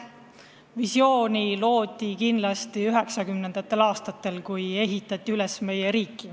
Visiooni loodi kindlasti 1990. aastatel, kui meie riiki üles ehitati.